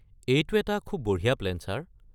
এইটো এটা খুব বঢ়িয়া প্লেন ছাৰ।